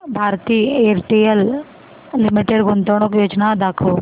Bharti Airtel limited गुंतवणूक योजना दाखव